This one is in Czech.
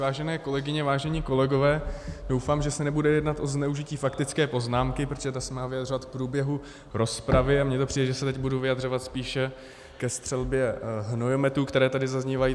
Vážené kolegyně, vážení kolegové, doufám, že se nebude jednat o zneužití faktické poznámky, protože ta se má vyjadřovat k průběhu rozpravy, a mně to přijde, že se teď budu vyjadřovat spíše ke střelbě hnojometů, které tady zaznívají.